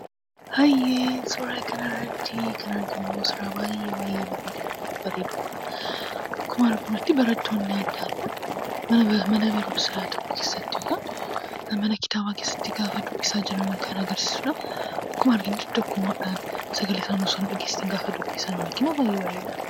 Suura kanarratti kan arginu suuraa baay'ee baay'ee bareedudha. Akkuma arginutti barattoonni adda addaa mana barumsaa tokko keessatti egaa mana dubbisaa keessatti gaafa dubbisaa jiran agarsiisa. Akkuma argamu tokkummaadhaan sagalee isaanii osoo hin dhageessisiin gaafa dubbisan baay'ee bareedaadha.